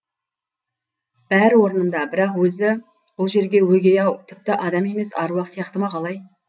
бәрі орнында бірақ өзі бұл жерге өгей ау тіпті адам емес аруақ сияқты ма қалай